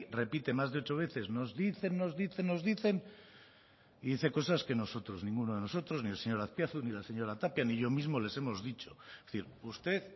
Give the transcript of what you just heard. repite más de ocho veces nos dicen nos dicen nos dicen y dice cosas que nosotros ninguno de nosotros ni el señor azpiazu ni la señora tapia ni yo mismo les hemos dicho es decir usted